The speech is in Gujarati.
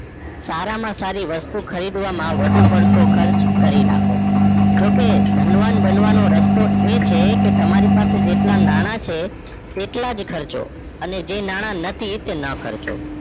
સારા માં સારી વસ્તુ ખરીદવામાં વધુ પડતો ખર્ચ કરી નાખો જોકે ધનવાન બનવાનો રસ્તો એ છે કે તમારી પાસે જેટલા નાણાં છે એટલા જ ખર્ચો અને જે નાણાં નથી એ ના ખર્ચશો